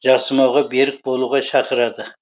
жасымауға берік болуға шақырады